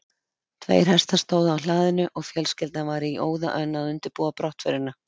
Tveir hestar stóðu á hlaðinu og fjölskyldan var í óða önn að undirbúa brottförina.